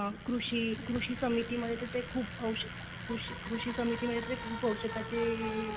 कृषी समितीमध्ये खूप औषधा कृषी समितीमध्ये खूप औषधाचे हे सांगतात